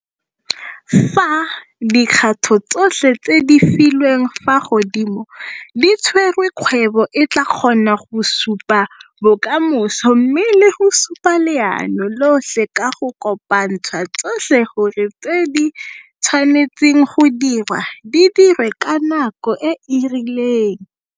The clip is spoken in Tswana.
Fa dikgato tsotlhe tse di filweng fa godimo di tserwe kgwebo e tla kgona go supa bokamoso mme le go supa leano lotlhe ka go kopantsha tsotlhe gore tse di tshwanetseng go dirwa di dirwe ka nako e e rileng.